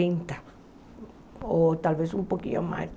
Trinta ou talvez um pouquinho mais.